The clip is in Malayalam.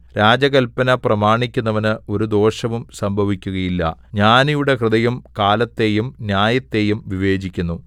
രാജകല്പന പ്രമാണിക്കുന്നവന് ഒരു ദോഷവും സംഭവിക്കുകയില്ല ജ്ഞാനിയുടെ ഹൃദയം കാലത്തെയും ന്യായത്തെയും വിവേചിക്കുന്നു